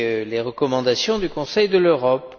les recommandations du Conseil de l'Europe.